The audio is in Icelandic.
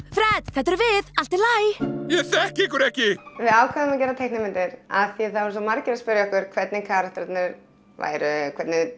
þetta erum við allt í lagi ég þekki ykkur ekki við ákváðum að gera teiknimyndir af því það voru svo margir að spyrja okkur hvernig karakterarnir væru og hvernig